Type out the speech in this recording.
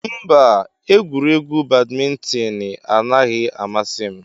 Mba, egwuregwu badmintoni anaghị amasị m.